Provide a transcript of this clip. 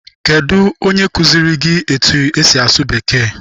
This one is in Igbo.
Kedụ onye kụziere gị etu-esi asụ bekee?